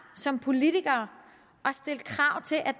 som politikere